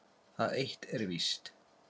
Það eitt er víst.